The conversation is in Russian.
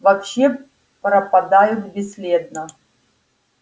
вообще пропадают бесследно